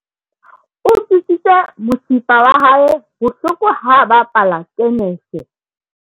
o utlwisitse mosifa wa hae bohloko ha a bapala tenese